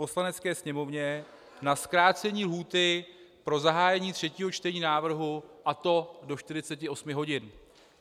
Poslanecké sněmovně na zkrácení lhůty pro zahájení třetího čtení návrhu, a to do 48 hodin.